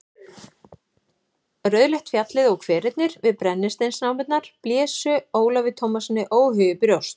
Rauðleitt fjallið og hverirnir við brennisteinsnámurnar blésu Ólafi Tómassyni óhug í brjóst.